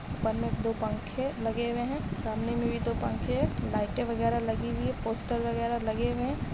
में दो पंखे लगे हुए हैं सामने में भी दो पंखे लाईटें वगेरा लगी हुई हैं पोस्टर वगेरा लगे हुए --